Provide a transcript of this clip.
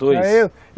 Dois?